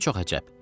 Çox əcəb.